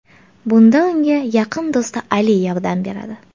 Bunda unga yaqin do‘sti Ali yordam beradi.